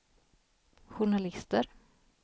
journalister